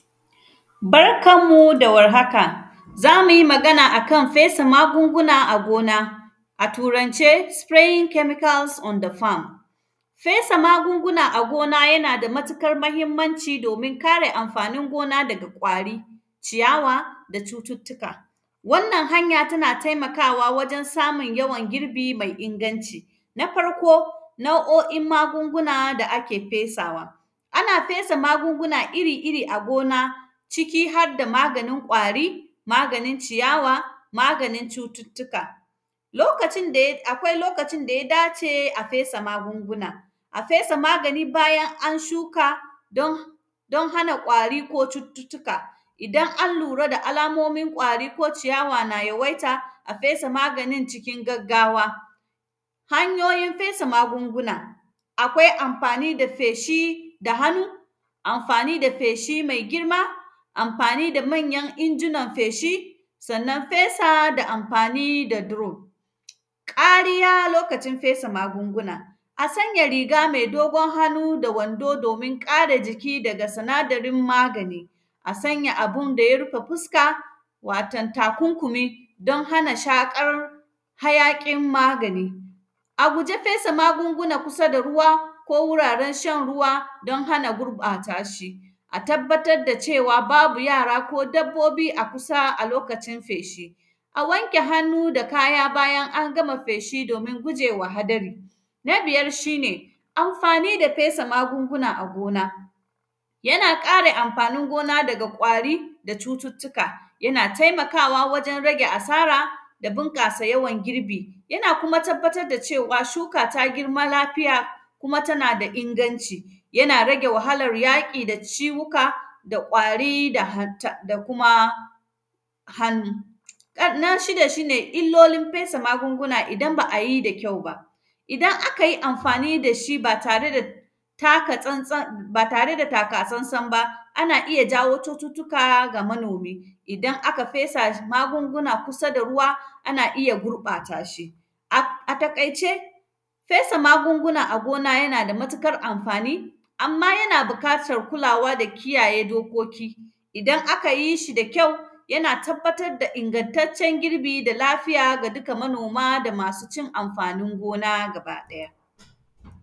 Barkan mu da warhaka, za mi yi magana a kan fesa magunguna a gona, a Turance “spraying chemicals on the farm”, fesa magungunan a gona, yana da matikar mahimmanci domin kare amfanin gona daga ƙwari, ciyawa da cututtuka. Wannan hanya, tana temakawa wajen samun yawan girbi mai inganci. Na farko, nau’o’in magunguna da ake fesawa, ana fesa magunguna iri-iri a gona, ciki had da maganin ƙwari, maganin ciyawa, maganin cututtuka. Lokacin da ya; akwai lokacin da ya dace a fesa magunguna, a fesa magani bayan an shuka don; don haka ƙwari ko cututtuka. Idan an lura da alamomin ƙwari ko ciyawa na yawaita, a fesa maganin cikin gaggawa. Hanyoyin fesa magunguna, akwai amfani da feshi da hanu, amfani da feshi mai girma, amfani da manyan injinan feshi, sannan, fesa da amfani da duro. Ƙariya lokacin fesa magunguna, a sanya riga me dogon hanu da wando, domin ƙare jiki daga sinadarin magani. A sanya abin da ya rufa fuska, waton takunkumi, don hana shaƙar hayaƙin magani. A guja fesa magunguna kusa da ruwa ko wuraren shan ruwa don hana gurƃata shi. A tabbatad da cewa, babu yara ko dabbobi a kusa a lokacin feshi. A wanke hanu da kaya bayan an gama feshi, domi guje wa hadari. Na biyar, shi ne amfani da fesa magunguna a gona. Yana ƙare amfanin gona daga ƙwari da cututtuka. Yana temakawa wajen rage asara da binƙasa yawan girbi. Yana kuma tabbatar da cewa, shuka ta girma lafiya kuma tana da inagnci. Yana rage wahalar yaƙi da ciwuka da ƙwari da hanta; da kuma hanu. En; na shida, shi ne illolin fesa magunguna idan ba a yi da kyau ba. Iadan aka yi amfani da shi ba tare taka tsantsan; ba tare da taka-sansan ba, ana iya jawo cututtuka ga manomi. Idan aka fesa sh; magunguna kusa da ruwa, ana iya gurƃata shi. Ak; a taƙaice, fesa magunguna a gona, yana da matikar amfani, amma yana bikatar kulawa da kiyaye dokoki. Idan aka yi shi da kyau, yana tabbatar da inagntaccen girbi da lafiya ga dika manoma da masu cin amfanin gona gabaɗaya.